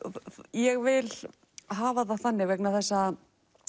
ég vil hafa það þannig vegna þess að